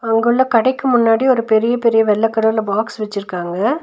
அங்குள்ள கடைக்கு முன்னாடி ஒரு பெரிய பெரிய வெள்ள கலர்ல பாக்ஸ் வெச்சுருக்காங்க.